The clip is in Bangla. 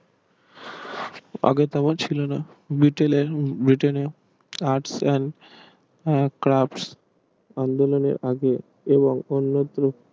আগে তেমন ছিল না বিকেলের